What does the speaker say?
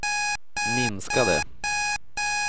minskade